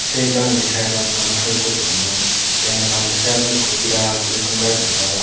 tey bagendi sydot manus hoi eko dega jar tey indi bagendi sydot berid gaas eko dega jar.